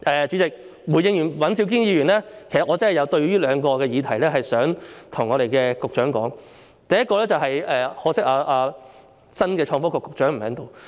主席，回應尹兆堅議員之後，其實我真的有兩個議題想跟局長說，可惜新任創新及科技局局長不在席。